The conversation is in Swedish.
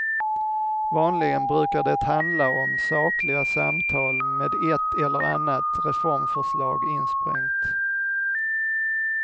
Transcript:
Vanligen brukar det handla om sakliga samtal, med ett eller annat reformförslag insprängt.